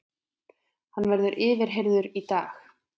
Hann verður yfirheyrður í dag